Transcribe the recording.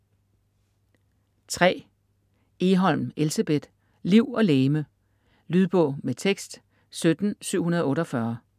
Egholm, Elsebeth: Liv og legeme Lydbog med tekst 17748